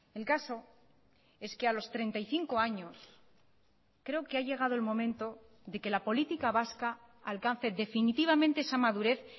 el caso es que a los treinta y cinco años creo que ha llegado el momento de que la política vasca alcance definitivamente esa madurez